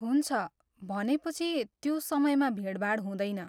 हुन्छ, भनेपछि त्यो समयमा भिडभाड हुँदैन।